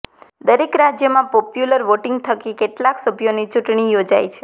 દરેક રાજ્યમાં popular voting થકી કેટલાક સભ્યોની ચૂંટણી યોજાય છે